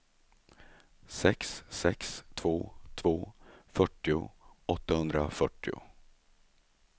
sex sex två två fyrtio åttahundrafyrtio